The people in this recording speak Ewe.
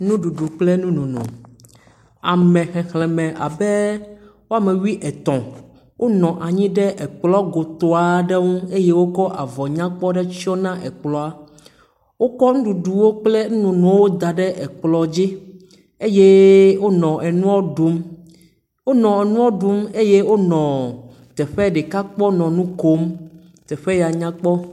Nuɖuɖu kple nunono, ame xexlẽme abe woame wuietɔ̃ wonɔ anyi ɖe ekplɔ goto aɖe ŋu eye eye womkɔ avɔ nyakpɔ aɖe tsyna ekplɔa, wokɔ nuɖuɖu kple nunonoa ɖe ɖe ekplɔ dzi, wonɔ nu ɖiɛ̃um eye wonɔ teƒe ɖeka kpɔm nɔ nu kom teƒe ya nyakpɔ.